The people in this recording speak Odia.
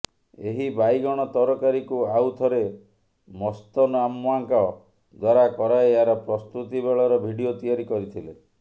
ଏହି ବାଇଗଣ ତରକାରୀକୁ ଆଉ ଥରେ ମସ୍ତନ୍ଅମ୍ମାଙ୍କ ଦ୍ୱାରା କରାଇ ଏହାର ପ୍ରସ୍ତୁତି ବେଳର ଭିଡିଓ ତିଆରି କରିଥିଲେ